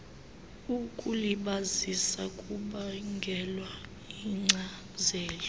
ukulibazisa kubangelwa yinkcazelo